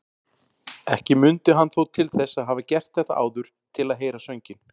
Ekki mundi hann þó til þess að hafa gert þetta áður til að heyra sönginn.